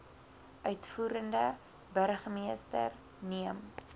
uitvoerende burgermeester neem